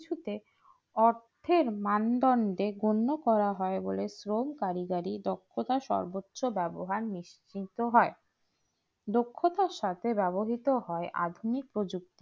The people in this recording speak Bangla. সবকিছুতে অর্থের মানদন্ডে গণ্য করা হয় বলে শ্রম কারিগরি দক্ষতার সর্বোচ্চ ব্যবহার নিশ্চিন্ত হয়।